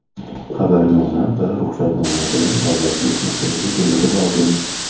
xabarnoma va ruxsatnoma bilan Davlat test markaziga kelishi lozim.